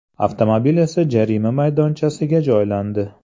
Avtomobil esa jarima maydonchasiga joylandi.